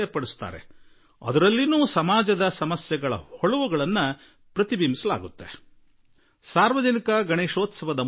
ಸ್ತಬ್ಧ ಚಿತ್ರಗಳಲ್ಲಿ ಕೂಡಾ ಸಮಾಜವನ್ನು ತಟ್ಟುವ ವಿಷಯಗಳನ್ನು ಕುರಿತು ಬಹಳ ಕಲಾತ್ಮಕ ರೀತಿಯಲ್ಲಿ ಜಾಗೃತಿ ಮೂಡಿಸುವರು